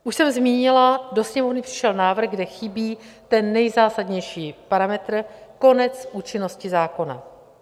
Už jsem zmínila, do Sněmovny přišel návrh, kde chybí ten nejzásadnější parametr, konec účinnosti zákona.